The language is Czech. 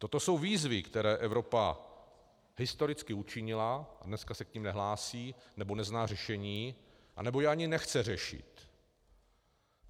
Toto jsou výzvy, které Evropa historicky učinila, a dnes se k nim nehlásí, nebo nezná řešení, nebo je ani nechce řešit.